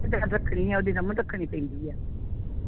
ਜਿਹੜਾ ਰੱਖਣੀ ਆ ਉਹ ਰੱਖਣੀ ਪੈਂਦੀ ਆ